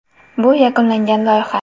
Bu yakunlangan loyiha.